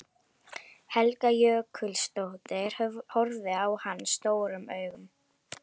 Helga Jökulsdóttir horfði á hann stórum augum.